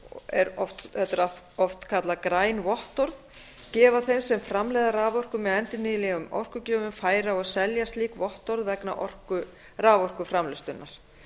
upprunaábyrgð á raforku er oft kallað græn vottorð gefa þeim sem framleiða raforku með endurnýjanlegum orkugjöfum færi á að selja slík vottorð vegna raforkuframleiðslunnar